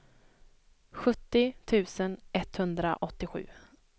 sjuttio tusen etthundraåttiosju